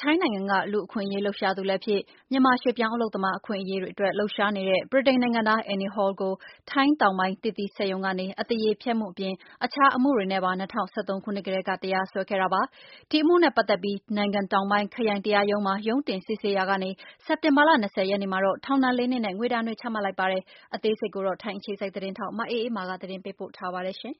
ထိုင်းနိုင်ငံက လူအခွင့်ရေးလှုပ်ရှားသူလည်းဖြစ် မြန်မာရွှေ့ပြောင်းအလုပ်သမားတွေ အပါအဝင်ရွှေ့ပြောင်းအလုပ်သမားရေး လှုပ်ရှားဆောင်ရွက်နေတဲ့ ဗြိတိန်နိုင်ငံသား Andy Hall ကိုထိုင်းတောင်ပိုင်းက(Natural Fruit Co Ltd) သစ်သီးစက်ရုံက အသရေဖျက်မူနဲ့အီလက်ထရောနစ် မှုတွေနဲ့ တရားစွဲခဲ့တဲ့အမူနဲ့ ပတ်သက်ပြီး ထိုင်းနိုင်ငံတောင်ပိုင်းခရိုင် တရားရံုံးမှာ ရုံးတင်စစ်ဆေးနေရာကနေ စက်တင်ဘာလ ၂၀ ရက်နေမှာတော့ထောင်ဒဏ် ၄နှစ်နဲ့ ငွေဒဏ်များ ချမှတ်လိုက်ပါတယ်။ မအေးအေးမာက သတင်းပေးပို့ထားပါတယ် ထို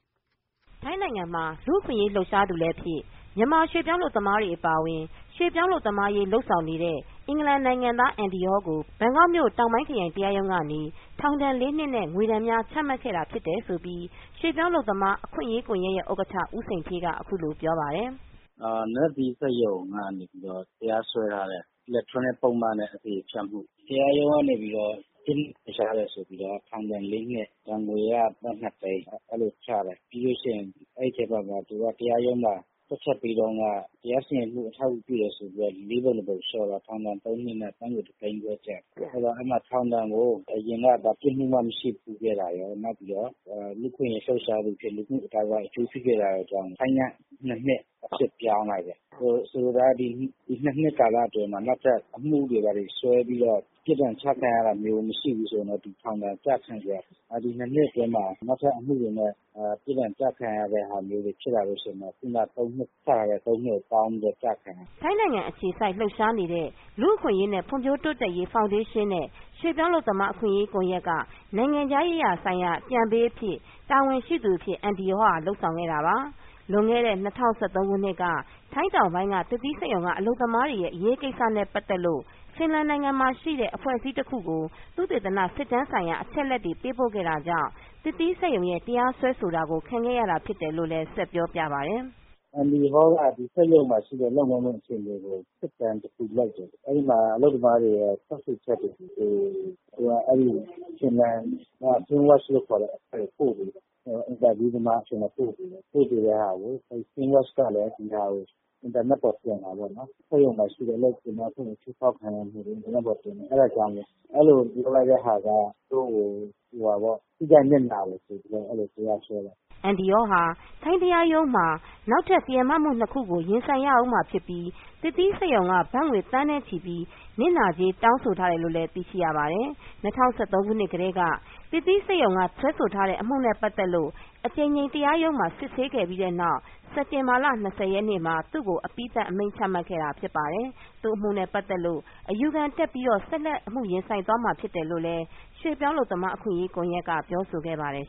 င်းနိုင်ငံမှာ လူ့အခွင်ရေးလှုပ်ရှားသူ လည်းဖြစ် မြန်မာရွှေ့ပြောင်း အလုပ်သမားတွေ အပါအဝင် ရွှေ့ပြောင်းအလုပ်သမားရေး လုပ်ဆောင်နေတဲ့ ဗြိတိန်နိုင်ငံသား Andy Hall ကို ဘန်ကောက်မြို့က တောင်ပိုင်းခရိုင် တရားရုံးကနေ ထောင်ဒဏ် ၄နှစ်နဲ့ ငွေဒဏ်များ ချမှတ်ခဲ့တာဖြစ်တယ် လို့ ရွှေ့ပြောင်းအလုပ်သမားအခွင့်ရေးကွန်ယက်ရဲ့ ဥက္ကဌ ဦးစိန်ဌေးက အခုလိုပြောပါတယ်။ “သစ်သီးစက်ရုံကနေပြီးတော့ တရားစွဲထားတဲ့ အီလက်ထရောနစ် ပုဒ်မနဲ့ အသရေဖျက်မှု တရားရုံးကနေပြီးတော့ ပြစ်မှုထင်ရှားတယ်ဆိုပြီးတော့ ထောင်ဒဏ် ၄နှစ်နဲ့ ဒဏ်ငွေက ဘက် ၂ သိန်း ချလိုက်တယ်။ ပြီးလို့ရှိရင် သူကတရားရုံးမှာ ထွက်ချက်ပေးတုန်းက တရားစီရင်မှု ကို အထောက်အကူပြုတယ်ဆိုပြီးတော့ ၄ ပုံ ၁ ပုံလျှော့တယ်ဆိုတော့ ထောင်ဒဏ် ၃ နှစ်နဲ့ ဘက်ငွေ ၁ သိန်း ။ အဲဒီမှာ ထောင်ဒဏ်ကို အရင်က ပြစ်မှုမရှိခဲ့တာရော၊ လူ့အခွင့်အရေးလှုပ်ရှားသူအဖြစ် လူ့မှုအသိုင်းအဝိုင်းအကျိုးစီးပွားလုပ်တာကြောင့် ဆိုင်းငံ့ ၂ နှစ် အဖြစ်ပြောင်းလိုက်တယ်။ ဆိုလိုတာကတော့ ဒီ ၂ နှစ် ကာလအတွင်းမှာ နောက်ထပ်အမှုတွေဘာတွေစွဲပြီးတော့ ပြစ်ဒဏ်ချခံရတာမျိုးမရှိရင်တော့ သူထောင်ဒဏ်ကျခံစရာမရှိဘူး။ ဒီ ၂ နှစ်အတွင်းမှာ နောက်ထပ်အမှုတွေနဲ့ ပြစ်ဒဏ်ချခံရတာမျိုးဖြစ်လာရင်တော့ ခဏက ကျတဲ့ ၃ နှစ်နဲ့ပေါင်းပြီး ကျခံရမယ်။” ထိုင်းနိုင်ငံအခြေစိုက်လှုပ်ရှားနေတဲ့ လူအခွင့်အရေးနဲ့ ဖွံ့ဖြိုးတိုးတက်ရေး ဖောင်ဒေးရှင်းနဲ့ ရွေ့ပြောင်းအလုပ်သမား အခွင့်ရေး ကွန်ယက်က နိုင်ငံခြားရေးရာ ဆိုင်ရာအကြံပေး အဖြစ် တာဝန်ရှိသူဖြစ်တဲ့ Andy Hall ဟာလုပ်ဆောင်ခဲ့တာပါ။ လွန်ခဲ့တဲ့ ၂၀၁၃ ခုနှစ်က ထိုင်းတောင်ပိုင်းက သစ်သီးစက်ရုံကအလုပ်သမားတွေရဲ့ အရေးကိစ္စနဲ့ပတ်သက်လို့ Finland နိုင်ငံမှာရှိတဲ့ အဖွဲ့အစည်းတခုကို သုတေသန စစ်တမ်းဆိုင်ရာ အချက်အလက်တွေ ပေးပိုခဲ့တာကြောင့် သစ်သီးစက်ရုံရဲ့ တရားစွဲဆိုတာကို ခံခဲ့ရတာဖြစ်တယ်လိုလည်း ဆက်ပြောပြပါတယ်။ “Andy Hall ကစက်ရုံမှာရှိတဲ့ လုပ်ငန်းခွင်အခြေအနေကို စစ်တမ်းတခုလုပ်တယ်။ အဲဒီမှာ အလုပ်သမားတွေရဲ့ထွက်ဆိုချက်တွေကို Finland က Finnwatch ဆိုတဲ့အဖွဲ့အစည်းကို ပို့ပေးတယ်။ ပို့ပေးတာကို Finnwatch ကလည်း ဒီဟာကို အင်တာနက်ပေါ်တင်တာပေါ့နော် စက်ရုံမှာရှိတဲ့ အလုပ်သမားအခွင့်အရေးချိုးဖောက်ခံရမှုတွေ ။ အဲဒါကြောင့် ဒီလိုလုပ်လိုက်တာက သူ့တို့ကို ထိခိုက်နစ်နာတယ်ဆိုပြီးတော့ တရားဆွဲတယ်။” Andy Hall ဟာ ထိုင်းတရားရုံးမှာနောက်ထပ်တရားမမှု ၂ ခုကို ရင်ဆိုင်ရမှာဖြစ်ပြီး သစ်သီးစက်ရုံ က ဘတ်ငွေ သန်းနဲ့ချီပြီး နစ်နာကြေး တောင်းဆိုထားတယ် လို့လည်းသိရှိရပါတယ်။ ၂၀၁၃ ခုနှစ်ကတည်း က သစ်သီးစက်ရုံက စွဲဆိုထားတဲ့အမူနဲ့ ပတ်သက်လို့အကြိမ်ကြိမ်တရားရုံးက စစ်ဆေးခဲ့ပြီး စက်တင်ဘာလ ၂၀ ရက်နေ့မှာ သူ့ကိုအပြီးသတ် အမိန်ချခဲ့တာဖြစ်ပါတယ်။ သူအမှုနဲ့ ပတ်သက်လို့ အယူခံတက်ပြီး ဆက်လက် အမူရင်ဆိုင်သွား မှာ ဖြစ်တယ်လို့လည်း ရွှေ့ပြောင်းအလုပ်သမားအခွင့်ရေး ကွန်ယက်က ပြောဆိုခဲ့ပါတယ်